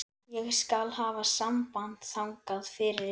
Ég skal hafa samband þangað fyrir ykkur.